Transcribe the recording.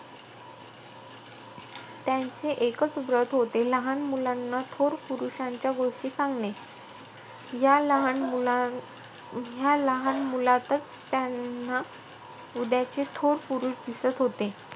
त्यांचे एकंच व्रत होते. लहानमुलांना थोर पुरुषांच्या गोष्टी सांगणे. ह्या लहान मुलां~ ह्या लहान मुलातचं त्यांना उद्याचे थोर पुरुष दिसत होते.